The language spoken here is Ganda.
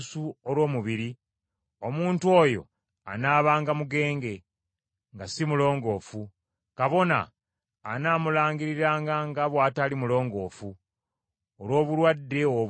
omuntu oyo anaabanga mugenge, nga si mulongoofu. Kabona anaamulangiriranga nga bw’atali mulongoofu, olw’obulwadde obwo mu mutwe gwe.